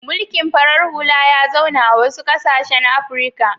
Mulikn farar hula ya zauna a wasu ƙasashen Afrika.